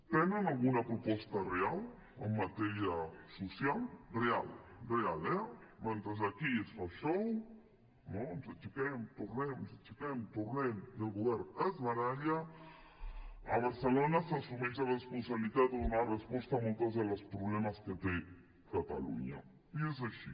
tenen alguna proposta real en matèria social real real eh mentre aquí es fa show ens aixequem tornem ens aixequem tornem i el govern es baralla a barcelona s’assumeixen responsabilitats de donar resposta a molts dels problemes que té catalunya i és així